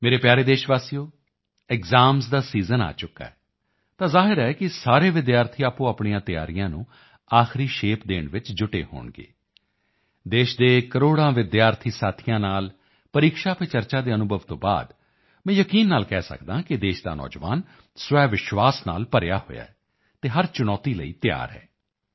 ਮੇਰੇ ਪਿਆਰੇ ਦੇਸ਼ਵਾਸੀਓ ਐਕਸਾਮਜ਼ ਦਾ ਸੀਜ਼ਨ ਆ ਚੁੱਕਾ ਹੈ ਤਾਂ ਜ਼ਾਹਿਰ ਹੈ ਕਿ ਸਾਰੇ ਵਿਦਿਆਰਥੀ ਆਪੋਆਪਣੀਆਂ ਤਿਆਰੀਆਂ ਨੂੰ ਆਖ਼ਰੀ ਸ਼ੇਪ ਦੇਣ ਵਿੱਚ ਜੁਟੇ ਹੋਣਗੇ ਦੇਸ਼ ਦੇ ਕਰੋੜਾਂ ਵਿਦਿਆਰਥੀ ਸਾਥੀਆਂ ਨਾਲ ਪਰੀਕਸ਼ਾ ਪੇ ਚਰਚਾ ਦੇ ਅਨੁਭਵ ਤੋਂ ਬਾਅਦ ਮੈਂ ਯਕੀਨ ਨਾਲ ਕਹਿ ਸਕਦਾ ਹਾਂ ਕਿ ਦੇਸ਼ ਦਾ ਨੌਜਵਾਨ ਸਵੈਵਿਸ਼ਵਾਸ ਨਾਲ ਭਰਿਆ ਹੋਇਆ ਹੈ ਅਤੇ ਹਰ ਚੁਣੌਤੀ ਲਈ ਤਿਆਰ ਹੈ